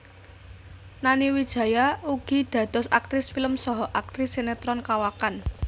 Nani Wijaya ugi dados aktris film saha aktris sinetron kawakan